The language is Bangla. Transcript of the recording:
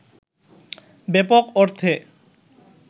ব্যাপক অর্থে